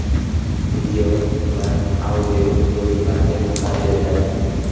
Video va audio yozuvlarga ruxsat beriladi.